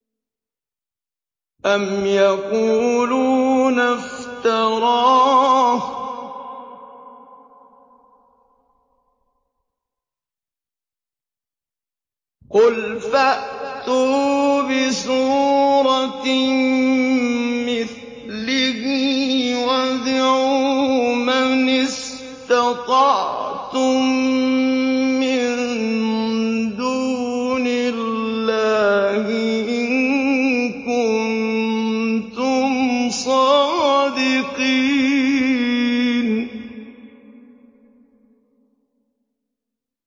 أَمْ يَقُولُونَ افْتَرَاهُ ۖ قُلْ فَأْتُوا بِسُورَةٍ مِّثْلِهِ وَادْعُوا مَنِ اسْتَطَعْتُم مِّن دُونِ اللَّهِ إِن كُنتُمْ صَادِقِينَ